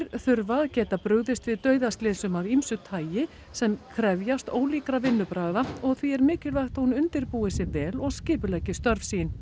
þurfa að geta brugðist við dauðaslysum af ýmsu tagi sem krefjast ólíkra viðbragða og því er mikilvægt að hún undirbúi sig vel og skipuleggi störf sín